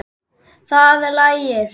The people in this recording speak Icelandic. Það lægir.